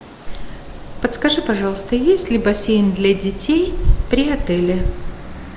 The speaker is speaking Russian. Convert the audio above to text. подскажи пожалуйста есть ли бассейн для детей при отеле